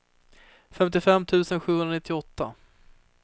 femtiofem tusen sjuhundranittioåtta